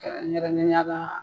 Kɛrɛnkɛrɛnnenuala .